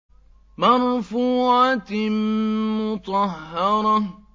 مَّرْفُوعَةٍ مُّطَهَّرَةٍ